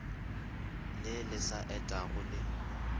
le le sa etego le